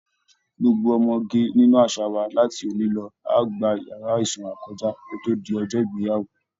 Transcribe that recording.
Gbogbo ọmọge nínú àṣà wa láti òní lọ á gba yàrá ìsanra kọjá kó tó di ọjọ́ ìgbéyàwó